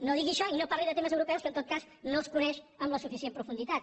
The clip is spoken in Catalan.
no digui això i no parli de temes europeus que en tot cas no els coneix amb la suficient profunditat